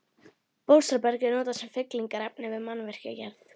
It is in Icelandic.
Bólstraberg er notað sem fyllingarefni við mannvirkjagerð.